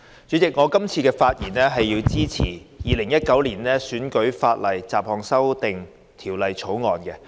主席，我發言支持《2019年選舉法例條例草案》。